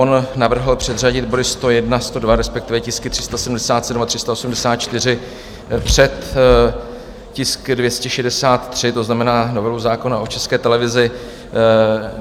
On navrhl předřadit body 101, 102, respektive tisky 377 a 384, před tisk 263, to znamená novelu zákona o České televizi.